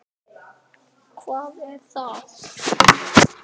Gat hann verið betri?